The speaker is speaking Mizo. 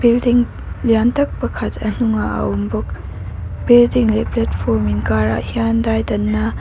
building lian tak pakhat a hnungah a awm bawk building leh platform inkarah hian daidanna.